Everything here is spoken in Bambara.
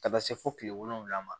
Ka taa se fo kile wolonwula ma